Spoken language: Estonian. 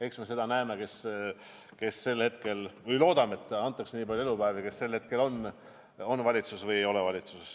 Eks me näeme – loodame, et antakse nii palju elupäevi –, kes sel aastal valitsuses on ja kes ei ole.